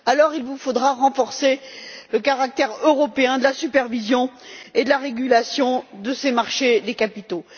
Il vous faudra alors renforcer le caractère européen de la supervision et de la régulation de ces marchés des capitaux.